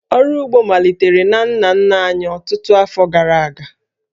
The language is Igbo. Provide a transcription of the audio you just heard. Ọrụ ugbo malitere na nna nna anyị ọtụtụ afọ gara aga